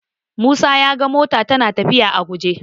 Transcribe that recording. Musa ya ga mota tana lafiya a guje.